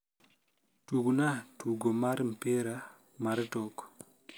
tugna tugo mar mpira mar tok